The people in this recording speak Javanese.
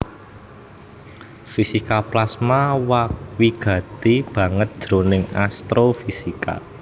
Fisika plasma wigati banget jroning astrofisika